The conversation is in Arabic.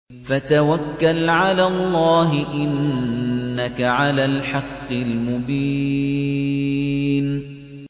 فَتَوَكَّلْ عَلَى اللَّهِ ۖ إِنَّكَ عَلَى الْحَقِّ الْمُبِينِ